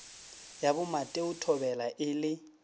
ya bomateo thobela e le